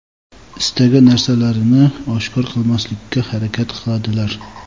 istagan narsalarini oshkor qilmaslikka harakat qiladilar.